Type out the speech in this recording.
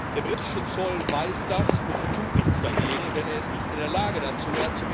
Der britische Zoll weiß das, und er tut nichts dagegen, denn er ist nicht in der Lage dazu.